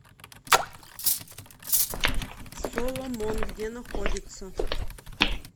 соломон где находится